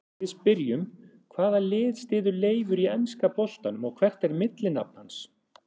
Við spyrjum: Hvaða lið styður Leifur í enska boltanum og hvert er millinafn hans?